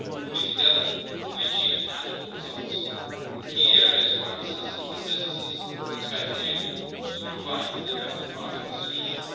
Only together can we achieve tangible results in the key areas where our citizens and businesses expect the Union to provide an effective part of the solution.